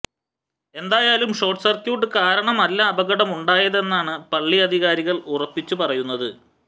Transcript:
ഏതായാലും short circuit കാരണമെല്ല അപകടമുണ്ടായതെന്നാണ് പള്ളി അധികാരികൾ ഉറപ്പിച്ചു പറയുന്നത്